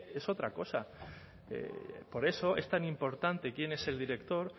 es otra cosa por eso es tan importante quién es el director